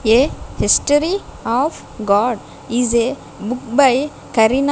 a history of god is a book by kareena --